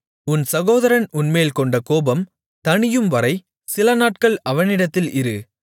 உன் சகோதரன் உன்மேல் கொண்ட கோபம் தணியும்வரை சிலநாட்கள் அவனிடத்தில் இரு